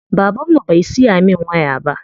Baban mu bai siya min waya ba.